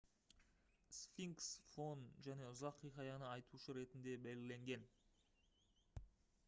сфинкс фон және ұзақ хикаяны айтушы ретінде белгіленген